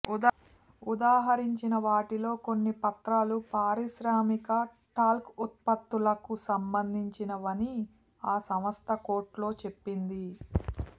ఉదహరించిన వాటిలో కొన్ని పత్రాలు పారిశ్రామిక టాల్క్ ఉత్పత్తులకు సంబంధించినవని ఆ సంస్థ కోర్టులో చెప్పింది